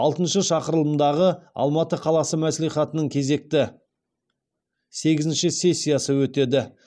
алтыншы шақырылымдағы алматы қаласы мәслихатының кезекті сегізінші сессиясы өтеді